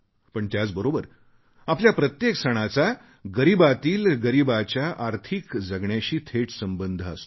पण त्याचबरोबर आपल्या प्रत्येक सणाचा गरीबातील गरीबाच्या आर्थिक जगण्याशी थेट संबंध असतो